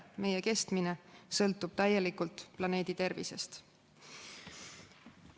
Meie kestmine sõltub täielikult planeedi tervisest.